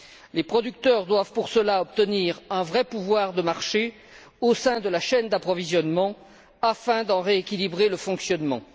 Les producteurs doivent pour cela obtenir un vrai pouvoir de marché au sein de la chaîne d'approvisionnement afin d'en rééquilibrer le fonctionnement.